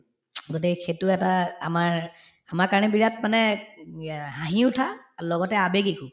গতিকে সেইটো এটা আমাৰ আমাৰ কাৰণে বিৰাট মানে হাঁহি উঠা আৰু লগতে আৱেগিকো